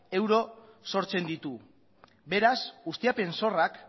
euro sortzen ditu beraz ustiapen zorrak